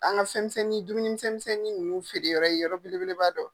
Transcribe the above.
An ka fɛn misɛnnin dumuni misɛn misɛnnin nunnu feere yɔrɔ ye yɔrɔ bele b'a dɔ.